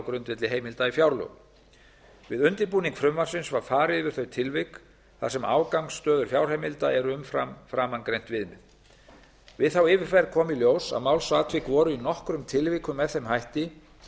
grundvelli heimilda í fjárlögum við undirbúning frumvarpsins var farið yfir þau tilvik þar sem afgangsstöður fjárheimilda eru umfram framangreint viðmið við þá yfirferð kom í ljós að málsatvik voru í nokkrum tilvikum með þeim hætti